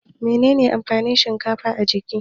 Menene amfanin shinkafa a jiki?